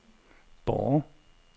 Borre